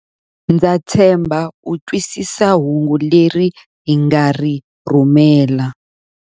Ndza tshemba u twisisa hungu leri hi nga ri rhumela.